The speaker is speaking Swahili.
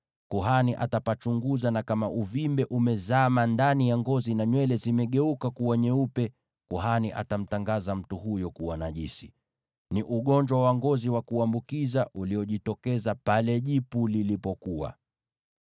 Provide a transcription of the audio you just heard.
Kuhani atapachunguza, na kama uvimbe umezama ndani ya ngozi, na nywele zimegeuka kuwa nyeupe, kuhani atamtangaza mtu huyo kuwa najisi. Ni ugonjwa wa ngozi wa kuambukiza uliojitokeza pale jipu lilipokuwa.